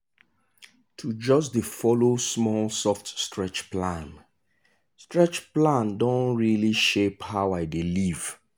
to just dey follow small soft stretch plan stretch plan don really shape how i dey live.